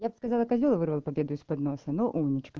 я бы сказала козёл вырвал победу из-под носа но умничка